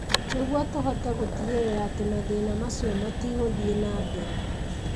Nĩguo tũhote gũtigĩrĩra atĩ mathĩna macio matigũthiĩ na mbere.